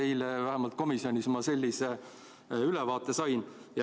Eile vähemalt komisjonis sain ma sellise ülevaate.